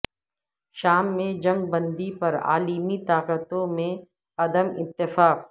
شام میں جنگ بندی پر عالمی طاقتوں میں عدم اتفاق